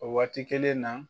O waati kelen na